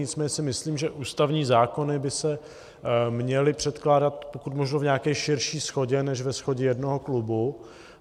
Nicméně si myslím, že ústavní zákony by se měly předkládat pokud možno v nějaké širší shodě než ve shodě jednoho klubu.